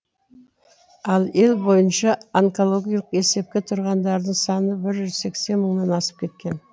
ал ел бойынша онкологиялық есепте тұрғандардың саны бір жүз сексен мыңнан асып кеткен